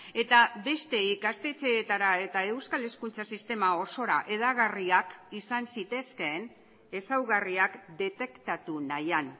eta beste ikastetxeetara eta euskal hezkuntza sistema osora hedagarriak izan zitezkeen ezaugarriak detektatu nahian